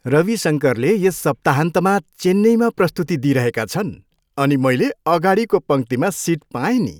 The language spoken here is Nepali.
रवि शङ्करले यस सप्ताहन्तमा चेन्नईमा प्रस्तुति दिइरहेका छन् अनि मैले अगाडिको पङ्क्तिमा सिट पाएँ नि!